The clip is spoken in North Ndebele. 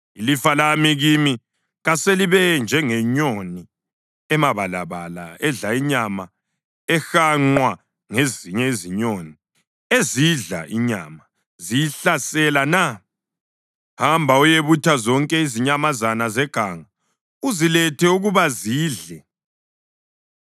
Ilifa lami kimi kaselibe njengenyoni emabalabala edla inyama ehanqwa ngezinye izinyoni ezidla inyama, ziyihlasela na? Hamba uyebutha zonke izinyamazana zeganga; uzilethe ukuba zidle.